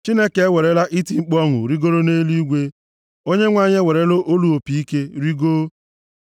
Chineke ewerela iti mkpu ọṅụ rigoro nʼeluigwe. Onyenwe anyị ewerela olu opi ike rigoo.